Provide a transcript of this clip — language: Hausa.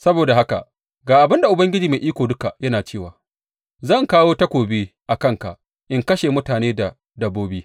Saboda haka ga abin da Ubangiji Mai Iko Duka yana cewa zan kawo takobi a kanka in kashe mutane da dabbobi.